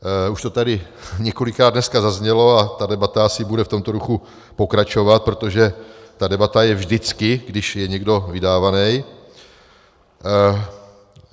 Už to tady několikrát dneska zaznělo a ta debata asi bude v tomto duchu pokračovat, protože ta debata je vždycky, když je někdo vydávaný.